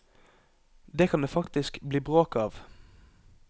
Det kan det faktisk bli bråk av.